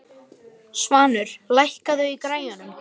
Svanur, lækkaðu í græjunum.